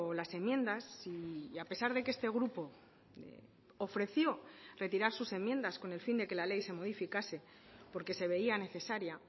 las enmiendas y a pesar de que este grupo ofreció retirar sus enmiendas con el fin de que la ley se modificase porque se veía necesaria